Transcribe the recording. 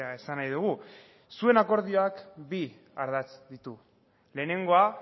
esan nahi dugu zuen akordioak bi ardatz ditu lehenengoa